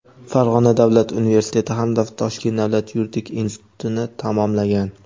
Farg‘ona davlat universiteti hamda Toshkent davlat yuridik institutini tamomlagan.